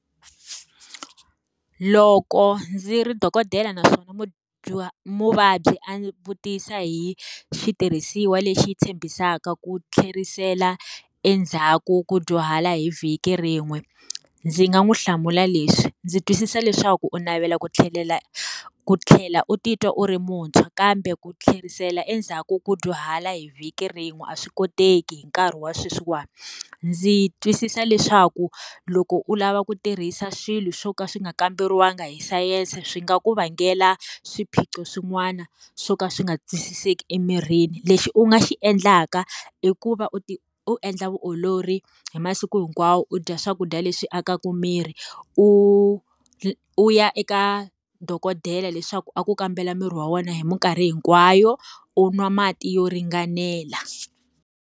Loko ndzi ri dokodela, naswona muvabyi a ndzi vutisa hi xitirhisiwa lexi tshembisaka ku tlherisela endzhaku ku dyuhala hi vhiki rin'we, ndzi nga n'wi hlamula leswi. Ndzi twisisa leswaku u navela ku tlhelela ku tlhela u titwa u ri muntshwa kambe ku tlherisela endzhaku ku dyuhala hi vhiki rin'we a swi koteki hi nkarhi wa sweswiwani. Ndzi twisisa leswaku loko u lava ku tirhisa swilo swo ka swi nga kamberiwangi hi sayense swi nga ku vangela swiphiqo swin'wana swo ka swi nga twisiseki emirini. Lexi u nga xi endlaka, i ku va u u endla vutiolori hi masiku hinkwawo u dya swakudya leswi akaka miri, u u ya eka dokodela leswaku a ku kambela miri wa wena hi minkarhi hinkwayo, u nwa mati yo ringanela.